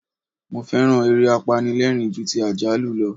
Mo féràn eré apanilẹ́rìń ju ti àjálù lọ.